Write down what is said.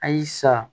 A y'i sa